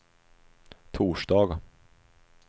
torsdag